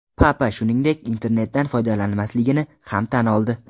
Papa shuningdek internetdan foydalanmasligini ham tan oldi.